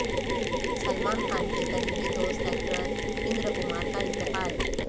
سلمان خان کے قریبی دوست ایکٹر اندر کمار کا انتقال